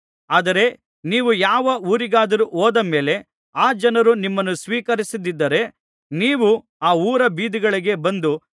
ಆದರೆ ನೀವು ಯಾವ ಊರಿಗಾದರೂ ಹೋದ ಮೇಲೆ ಆ ಜನರು ನಿಮ್ಮನ್ನು ಸ್ವೀಕರಿಸದ್ದಿದ್ದರೆ ನೀವು ಆ ಊರ ಬೀದಿಗಳಿಗೆ ಬಂದು